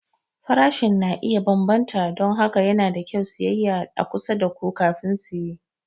Farashi na iya bambanta don haka yana da kyau siyayya a kusa da ku kafin siye.